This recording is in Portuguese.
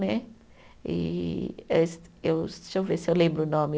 Né e, eh se eu, deixa eu ver se eu lembro o nome.